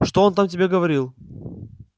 что он там тебе говорил